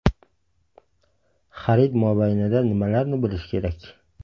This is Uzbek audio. Xarid mobaynida nimalarni bilish kerak?